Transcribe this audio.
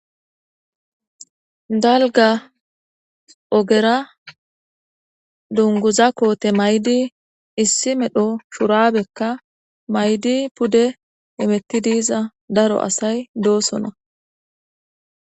Dalgga ogeera dungguza koote mayidii issi medho shuraabekka mayidii pude hemettidiiza daro asay doosona